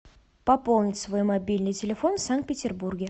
пополнить свой мобильный телефон в санкт петербурге